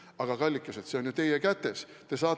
Aga, kallikesed, see on ju teie kätes!